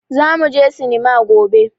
Zamu je sinima gobe.